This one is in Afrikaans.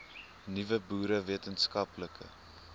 nuwe boere wetenskaplike